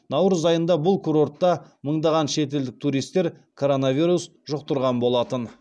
наурыз айында бұл курортта мыңдаған шетелдік туристер коронавирус жұқтырған болатын